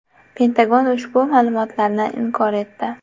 Pentagon ushbu ma’lumotni inkor etdi.